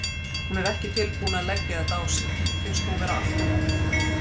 Hún er ekki tilbúin að leggja þetta á sig, finnst hún vera alltof ung.